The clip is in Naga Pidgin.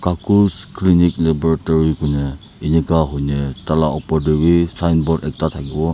khakhus clinic laboratory kuine eneka huine tala opor te bi signboard ekta thakibo.